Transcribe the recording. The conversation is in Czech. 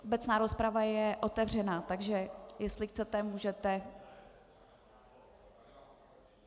Obecná rozprava je otevřena, takže jestli chcete, můžete.